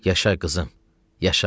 Yaşa qızım, yaşa!